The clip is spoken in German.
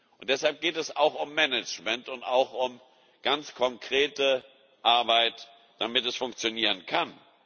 Und deshalb geht es auch um Management und auch um ganz konkrete Arbeit, damit es funktionieren kann.